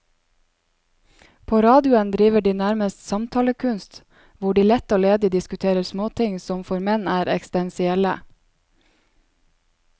På radioen driver de nærmest samtalekunst, hvor de lett og ledig diskuterer småting som for menn er eksistensielle.